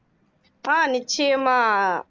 ஆஹ் நிச்சயமா